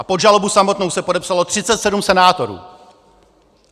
A pod žalobu samotnou se podepsalo 37 senátorů.